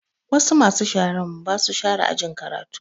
Wasu masu sharan ba su share ajin karatu